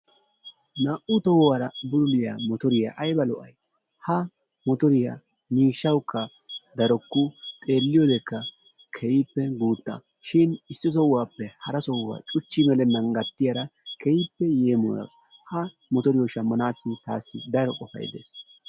naa'u tohuwara bululliya motoriya aybba lo'ay? ha motoriya miishawukka darukku xeeliyodekka keehippe guutta shin issi sohuwappe hara sohuwa cuchi melennan gattiyara keehippe yeemoyawusu. jha motoriyo shamanaassi taassi daro qofay de'es.